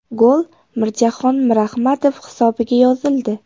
Gol Mirjahon Mirahmadov hisobiga yozildi.